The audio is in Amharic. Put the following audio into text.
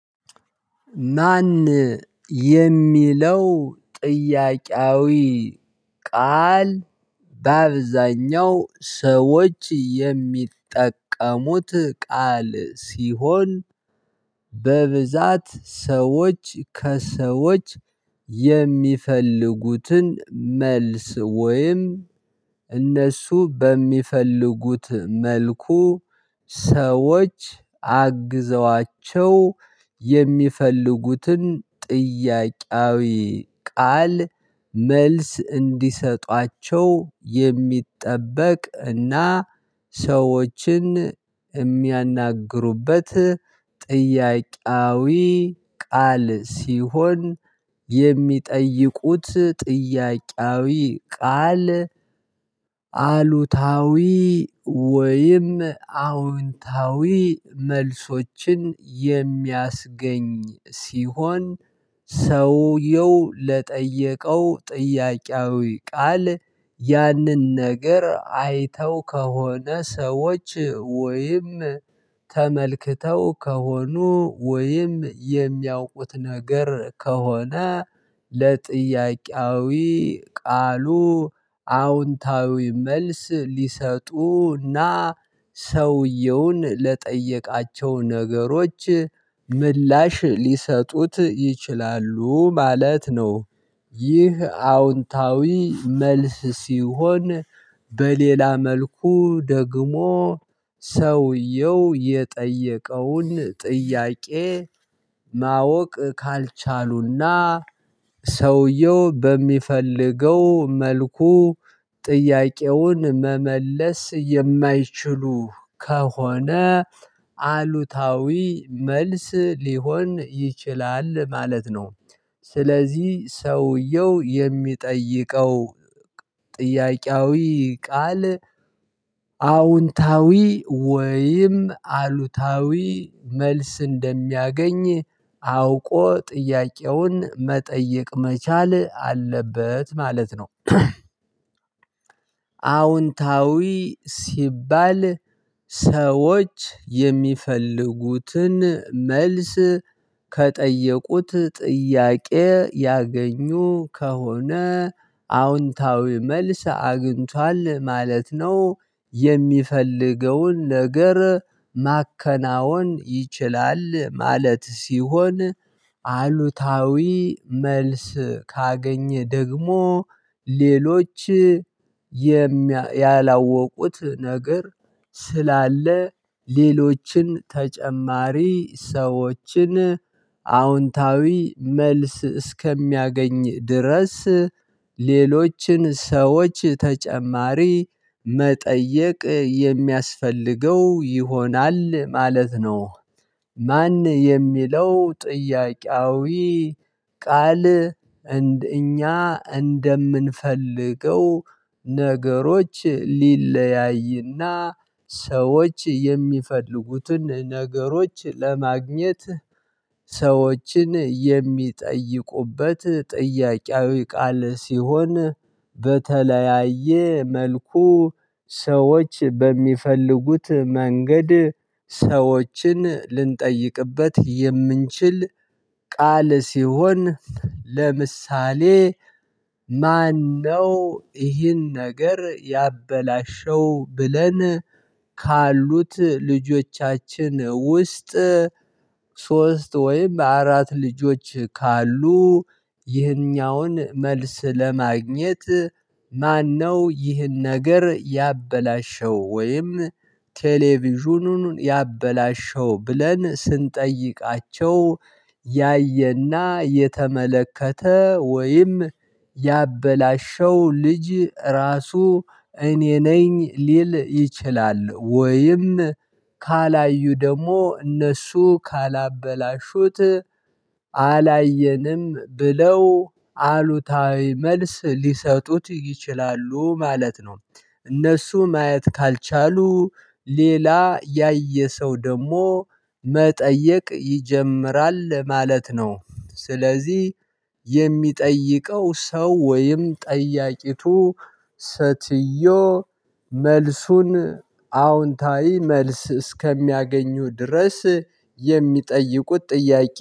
ማን የሚለው ጥያቄያዊ ቃል በአብዛኛው ሰዎች የሚጠቀሙት ቃል ሲሆን በብዛት ሰዎች ከሰዎች የሚፈልጉትን መልስ ወይም እነሱ በሚፈልጉት መልኩ ሰዎች አግዘዋቸው የሚፈልጉትን ጥያቄያዊ ቃል መልስ እንዲሰጧቸው የሚጠበቅ እና ሰዎችን የሚያናግሩበት ጥያቄያዊ ቃል ሲሆን የሚጠይቁት ጥያቄያዊ ቃል። አሉታዊ ወይም አዎንታዊ መልሶችን የሚያስገኝ ሲሆን ሰውየው ለጠየቀው ጥያቄያዊ ቃል ያንን ነገር አይተው ከሆነ ሰዎች ወይም ተመልክተው ከሆኑ ወይም የሚያውቁት ነገር ከሆነ ለጥያቄያዊ ቃሉ አዎንታዊ መልስ ሊሰጡና ሰውየውን ለጠየቃቸው ነገሮች ምላሽ ሊሰጡት ይችላሉ ማለት ነው። ይህ አዎንታዊ መልስ ሲሆን በሌላ መልኩ ደግሞ ሰውየው የጠየቀውን ጥያቄ ማወቅ ካልቻሉና ሰውየው በሚፈልገው መልኩ ጥያቄውን መመለስ የማይችሉ ከሆነ አሉታዊ መልስ ሊሆን ይችላል ማለት ነው። ስለዚህ ሰውየው የሚጠይቀው ጥያቄያዊ ቃል አዎንታዊ ወይም አሉታዊ መልስ እንደሚያገኝ አውቆ ጥያቄውን መጠየቅ መቻል አለበት ማለት ነው። አዎንታዊ ሲባል ሰዎች የሚፈልጉትን መልስ ከጠየቁት ጥያቄ ያገኙ ከሆነ አዎንታዊ መልስ አግኝቷል ማለት ነው። የሚፈልገውን ነገር ማከናወን ይችላል ማለት ሲሆን አሉታዊ መልስ ካገኘ ደግሞ ሌሎች ያላወቁት ነገር ስላለ ሌሎችን ተጨማሪ ሰዎችን አዎንታዊ መልስ እስከሚያገኝ ድረስ ሌሎችን ሰዎች ተጨማሪ መጠየቅ የሚያስፈልገው ይሆናል ማለት ነው። ማን የሚለው ጥያቄያዊ ቃል እንደ እኛ እንደምንፈልገው ነገሮች ሊለያይና ሰዎች የሚፈልጉትን ነገሮች ለማግኘት ሰዎችን የሚጠይቁበት ጥያቄያዊ ቃል ሲሆን በተለያየ መልኩ ሰዎች በሚፈልጉት መንገድ ሰዎችን ልንጠይቅበት የምንችል ቃል ሲሆን ለምሳሌ ማነው ይህን ነገር ያበላሸው ብለን ካሉት ልጆቻችን ውስጥ ሶስት ወይም አራት ልጆች ካሉ ይህኛውን መልስ ለማግኘት ማነው ይህን ነገር ያበላሸው? ወይም ቴሌቪዥኑን ያበላሸው ብለን ስንጠይቃቸው ያየና የተመለከተ ወይም ያበላሸው ልጅ ራሱ እኔ ነኝ ሊል ይችላል ወይም ካላዩ ደግሞ እነሱ ካላበላሹት አላየንም ብለው አሉታዊ መልስ ሊሰጡት ይችላሉ ማለት ነው። እነሱ ማየት ካልቻሉ ሌላ ያየ ሰው ደግሞ መጠየቅ ይጀምራል ማለት ነው። ስለዚህ የሚጠይቀው ሰው ወይም ጠያቂቱ ሰትዮ መልሱን አዎንታዊ መልስ እስከሚያገኙ ድረስ የሚጠይቁት ጥያቄ